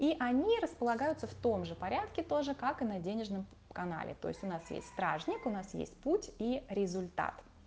и они располагаются в том же порядке тоже как и на денежном канале то есть у нас есть стражник у нас есть путь и результат